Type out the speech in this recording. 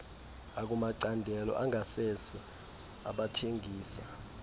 akumacandelo angasese abathengisa